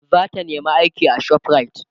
zata nema aiki a shoprite